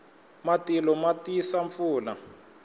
matilo ma tisa pfula